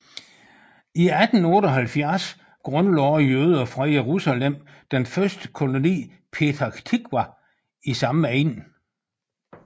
I 1878 grundlagde jøder fra Jerusalem den første koloni petach tiqwa i samme egn